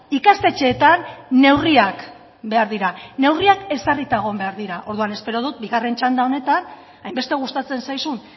ikastetxeetan neurriak behar dira neurriak ezarrita egon behar dira orduan espero dut bigarren txanda honetan hainbeste gustatzen zaizun